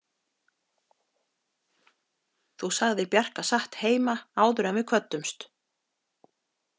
Þú sagðir Bjarka satt heima áður en við kvöddumst.